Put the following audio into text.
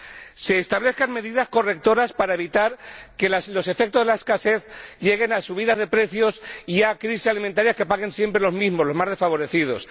que se establezcan medidas correctoras para evitar que los efectos de la escasez lleguen a subidas de precios y a crisis alimentarias que paguen siempre los mismos, los más desfavorecidos